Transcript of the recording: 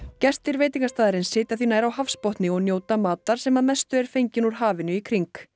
gestir veitingastaðarins sitja því nær á hafsbotni og njóta matar sem að mestu er fenginn úr hafinu í kring